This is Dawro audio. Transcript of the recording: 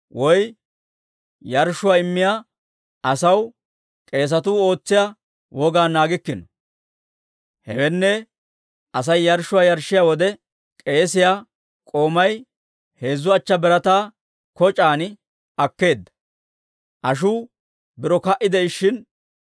woy yarshshuwaa immiyaa asaw k'eesatuu ootsiyaa wogaa naagikkino. Hewenne, Asay yarshshuwaa yarshshiyaa wode, k'eesiyaa k'oomay heezzu achchaa birataa koc'aan akkeedda; ashuu biro ka"i de'ishshin,